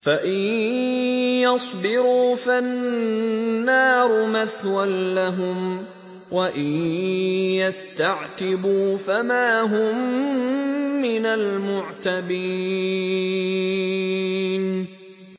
فَإِن يَصْبِرُوا فَالنَّارُ مَثْوًى لَّهُمْ ۖ وَإِن يَسْتَعْتِبُوا فَمَا هُم مِّنَ الْمُعْتَبِينَ